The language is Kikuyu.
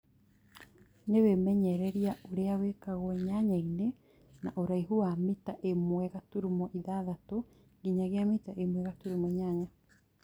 Na wĩmenyereria ũrĩa wĩkagwo nyanya-inĩ na ũraihu wa mita ĩmwe gaturumo ithathatũ nginyagia mita ĩmwe gaturumo inyanya